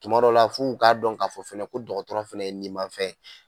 Tumadɔw la f'u k'a dɔn k'a fɔ fɛnɛ ko dɔgɔtɔrɔ fɛnɛ ye nin ma fɛn ye